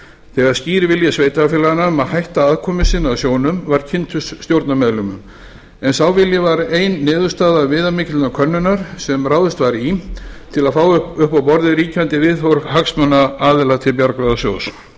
þegar skýr vilji sveitarfélaganna um að hætta að komu sinni að sjóðnum var kynntur stjórnarmeðlimum en sá vilji var ein niðurstaða viðamikillar könnunar sem ráðist var í til að fá upp á borðið ríkjandi viðhorf hagsmunaaðila til bjargráðasjóðs